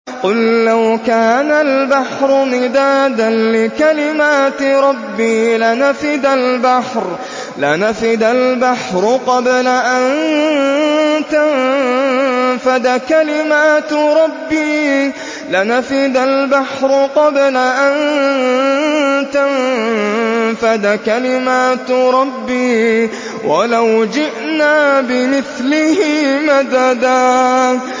قُل لَّوْ كَانَ الْبَحْرُ مِدَادًا لِّكَلِمَاتِ رَبِّي لَنَفِدَ الْبَحْرُ قَبْلَ أَن تَنفَدَ كَلِمَاتُ رَبِّي وَلَوْ جِئْنَا بِمِثْلِهِ مَدَدًا